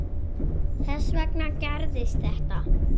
Þess vegna gerðist þetta.